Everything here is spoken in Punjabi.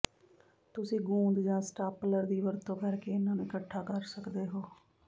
ਤੁਸੀਂ ਗੂੰਦ ਜਾਂ ਸਟਾਪਲਰ ਦੀ ਵਰਤੋਂ ਕਰਕੇ ਇਹਨਾਂ ਨੂੰ ਇਕਠਾ ਕਰ ਸਕਦੇ ਹੋ